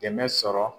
Dɛmɛ sɔrɔ